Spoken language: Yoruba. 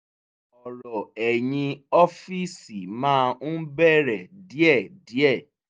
ọ̀rọ̀ ẹ̀yìn ọ́fìsì máa ń bẹ̀rẹ̀ díẹ̀díẹ̀